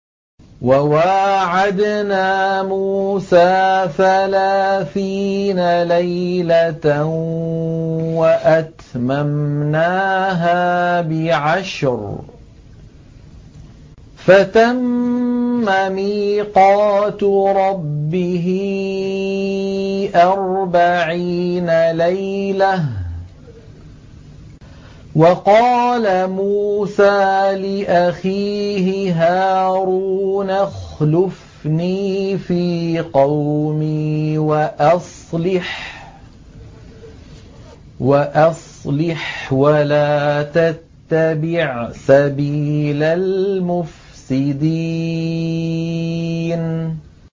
۞ وَوَاعَدْنَا مُوسَىٰ ثَلَاثِينَ لَيْلَةً وَأَتْمَمْنَاهَا بِعَشْرٍ فَتَمَّ مِيقَاتُ رَبِّهِ أَرْبَعِينَ لَيْلَةً ۚ وَقَالَ مُوسَىٰ لِأَخِيهِ هَارُونَ اخْلُفْنِي فِي قَوْمِي وَأَصْلِحْ وَلَا تَتَّبِعْ سَبِيلَ الْمُفْسِدِينَ